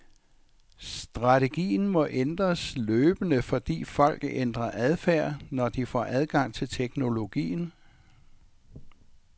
Strategien må ændres løbende, fordi folk ændrer adfærd, når de får adgang til teknologien.